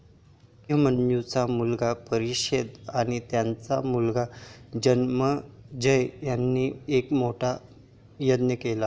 अभिमन्यूचा मुलगा परक्षित आणि त्याचा मुलगा जनमेजय याने एक मोठा यज्ञ केला.